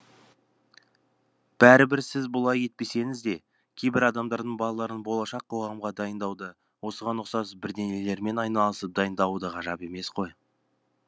бәрібір сіз бұлай етпесеңіз де кейбір адамдардың балаларын болашақ қоғамға дайындауда осыған ұқсас бірдеңелермен айналысып дайындауы да ғажап емес қой